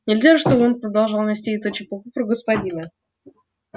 нельзя же чтобы он продолжал нести эту чепуху про господина